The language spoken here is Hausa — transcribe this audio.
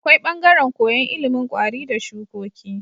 Akwai bangaran koyan ilimin kwari da shukoki